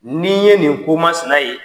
N'i ye nin komasina ye